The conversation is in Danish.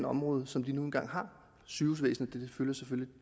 område som de nu engang har sygehusvæsenet fylder selvfølgelig